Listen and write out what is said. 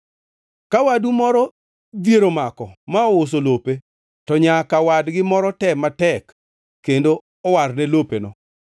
Ka wadu moro dhier omako ma ouso lope, to nyaka wadgi moro tem matek kendo owarne lopeno.